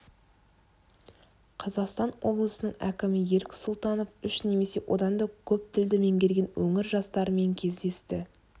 қазақстан облысының әкімі ерік сұлтанов үш немесе одан да көп тілді меңгерген өңір жастарымен кездесті